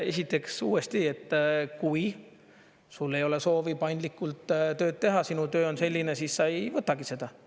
Esiteks uuesti, et kui sul ei ole soovi paindlikult tööd teha, sinu töö on selline, siis sa ei võtagi seda.